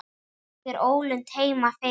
Er einhver ólund heima fyrir?